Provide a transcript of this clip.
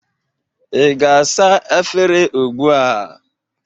Ị ga-asa afere ugbụ a?